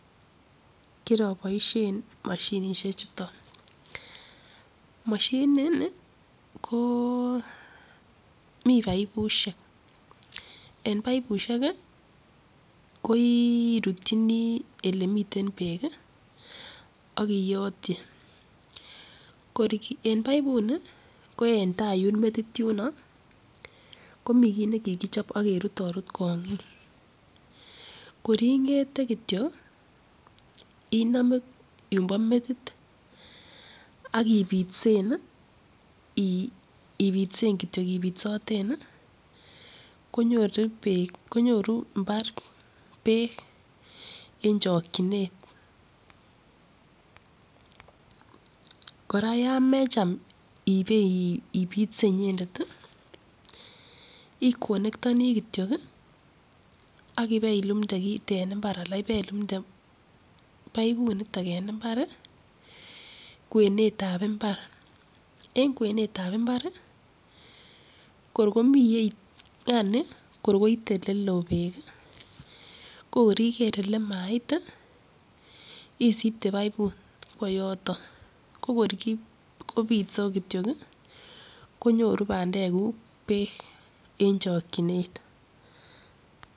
Kiraboishen moshinshek chuton. Moshinini, ko mi pipushek, en pipushek, ko irutchini elemiten beek, ak iyotchi. Kor en pipuni, koen tai yun metit yuno, komi kit ne kikichop ak kerut arut kong'ik. Kor ing'ete kitio, iname yun bo metit ak ipitsen kitio, ipitsoten. Konyorumbar beek eng chokchinet. Kora yo mecham ibeipitse inyendet, iconectoni kityo ak ibeilumte tit en mbar anan ibeilumte piput age en mbar. Kwenetab mbar, en kwenetab mbar, kor koni, yani kor koitei ole loo beek. Kor yeker yemait isipte piput kowo yotok. Ko kor kopitsei kityo konyoru pandekuk beek, eng chokchinet.